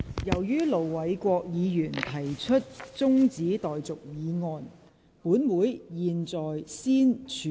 由於盧偉國議員提出了中止待續議案，本會現在先處理這項議案。